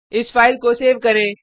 इस फाइल को सेव करें